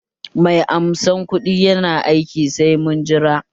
Mai amsa kuɗin yana aiki, sai mun jira